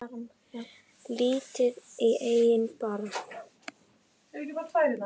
Lítið í eigin barm.